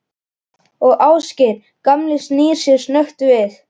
Og Ásgeir gamli snýr sér snöggt við.